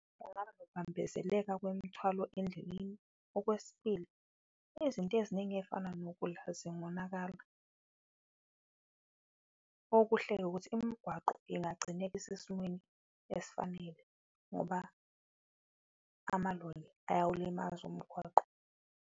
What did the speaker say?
Kungaba nokubambezeleka kwemithwalo endleleni, okwesibili izinto eziningi eyifana nokudla zingonakala. Okuhle-ke ukuthi imigwaqo ingagcine isesimweni esifanele, ngoba amaloli ayawulimaza umgwaqo.